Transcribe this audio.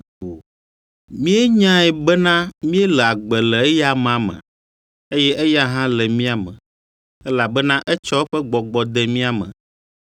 Míenyae bena míele agbe le eya amea me, eye eya hã le mía me, elabena etsɔ eƒe Gbɔgbɔ de mía me.